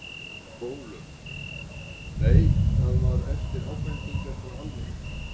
Ólöf: Nei, það var eftir ábendingar frá almenningi?